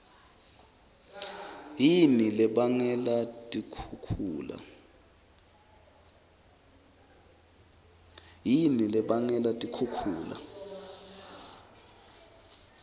yini lebangela tikhukhula